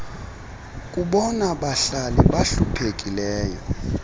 kubona bahlali bahluphekileyo